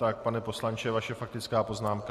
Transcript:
Tak pane poslanče, vaše faktická poznámka.